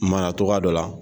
cogoya dɔ la